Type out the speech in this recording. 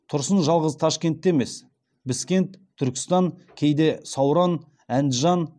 тұрсын жалғыз ташкентте емес біскент түркістан кейде сауран әндіжан